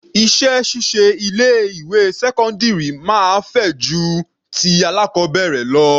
Iṣẹ́ ṣíṣe ilé ìwé sẹ́cọ́ndírì máa fẹjú ju ti alákọbẹ̀rẹ̀ lọ.